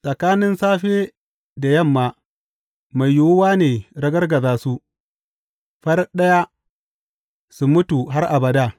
Tsakanin safe da yamma mai yiwuwa ne ragargaza su; farat ɗaya, su mutu har abada.